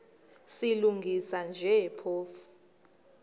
silungisa nje phofu